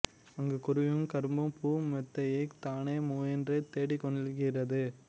அங்குக் குருவியும் கரும்புப் பூ மெத்தையைத் தானே முயன்று தேடிக்கொள்கிறது